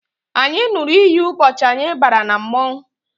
Anyị ṅụrụ iyi ụbọchị anyị bara na mmọnwụ